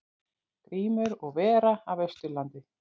Grímur og vera af Austurlandi.